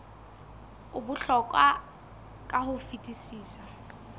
o bohlokwa ka ho fetisisa